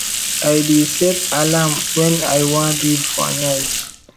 i dey set alarm wen i wan read for night